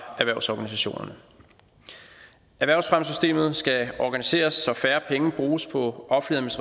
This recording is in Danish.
erhvervsorganisationerne erhvervsfremmesystemet skal organiseres så færre penge bruges på offentlig